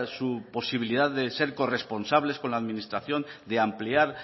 su posibilidad de ser corresponsables con la administración de ampliar